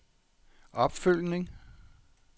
opfølgning